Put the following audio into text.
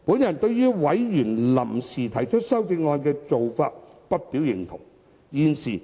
我對於委員臨時提出修正案的做法不表認同。